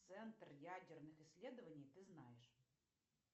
центр ядерных исследований ты знаешь